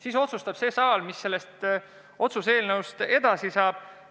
Siis otsustab see saal, mis sellest otsuse eelnõust edasi saab.